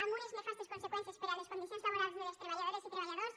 amb unes nefastes conseqüències per a les condicions laborals de les treballadores i treballadors